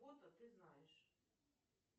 ты знаешь